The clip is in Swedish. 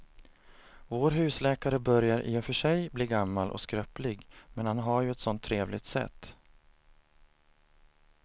Vår husläkare börjar i och för sig bli gammal och skröplig, men han har ju ett sådant trevligt sätt!